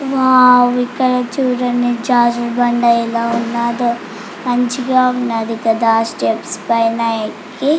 Wow ఇక్కడ చుడండి జారుడు బాండ ఎలా ఉన్నదో మంచిగా ఉన్నదీ. కదా స్టెప్స్ పైన ఎక్కి--